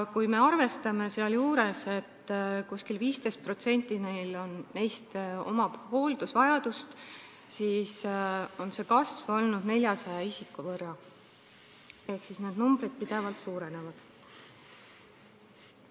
Kui me arvestame, et umbes 15%-l neist on hooldusvajadus, siis selgub, et kasv on olnud 400 isikut ehk need arvud pidevalt suurenevad.